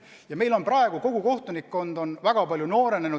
Ja meil on praegu kogu kohtunikkond väga palju noorenenud.